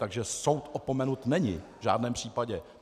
Takže soud opomenut není v žádném případě.